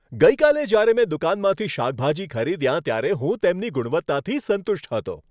ગઈકાલે જ્યારે મેં દુકાનમાંથી શાકભાજી ખરીદ્યા ત્યારે હું તેમની ગુણવત્તાથી સંતુષ્ટ હતો.